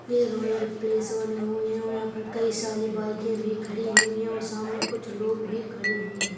ये royal place बने हुए हैं और यहाँ पर कई सारी बाइकें भी खड़ी हुई हैं और सामने कुछ लोग भी खड़े हुए हैं।